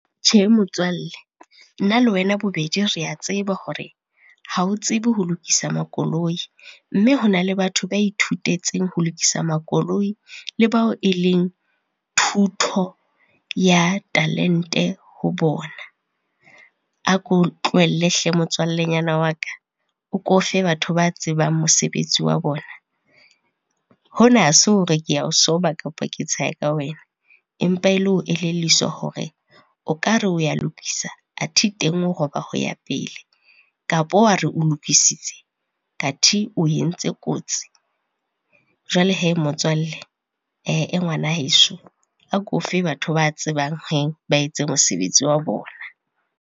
Tjhe motswalle, nna le wena bobedi rea tseba hore ha o tsebe ho lokisa makoloi, mme hona le batho ba ithutetseng ho lokisa makoloi le bao e leng thuto ya talente ho bona. A ko tlohelle hle motswallenyana wa ka, o ko fe batho ba tsebang mosebetsi wa bona. Hona ha se hore ke a o soba kapa ke tsheha ka wena empa e le ho elelliswa hore, o ka re o ya lokisa athe teng o roba ho ya pele kapa wa re o lokisitse, kathe o entse kotsi. Jwale hee motswalle, ngwana heso, a ko fe batho ba tsebang hee ba etse mosebetsi wa bona.